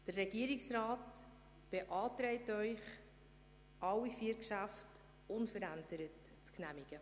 Der Regierungsrat beantragt Ihnen, alle vier Geschäfte unverändert zu genehmigen.